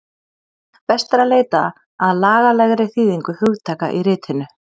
Best er að leita að lagalegri þýðingu hugtaka í ritinu